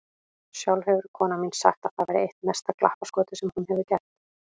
Sjálf hefur konan mín sagt að það væri eitt mesta glappaskotið sem hún hefur gert.